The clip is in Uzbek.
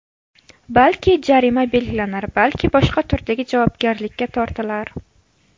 Balki, jarima belgilanar, balki boshqa turdagi javobgarlikka tortilar.